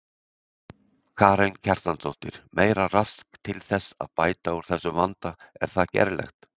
Karen Kjartansdóttir: Meira rask til þess að bæta úr þessum vanda er það gerlegt?